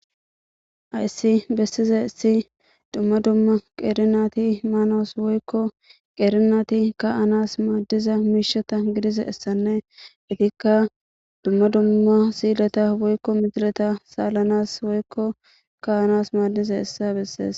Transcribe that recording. ayssi bessize issi dumma dumma qeerinati maanoos woykko qeerinati ka anas maaddiza miisheta gidize essanne itikka dumma dumma siileta woykko mitileta saalanas woykko ka anas maaddize issa bessees